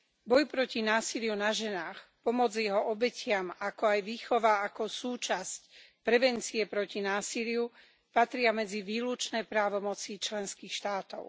Boj proti násiliu na ženách, pomoc jeho obetiam, ako aj výchova ako súčasť prevencie proti násiliu, patria medzi výlučné právomoci členských štátov.